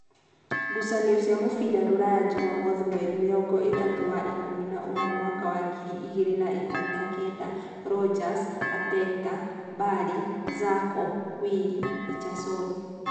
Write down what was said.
Ngucanio cia mũbira Ruraya Jumamothi mweri mĩrongoĩtatu waikũminaũmwe mwaka wa ngiri igĩrĩ na ikũmi na kenda: Ronjas, Ateta, Bari, Zacho, Wili, Richasoni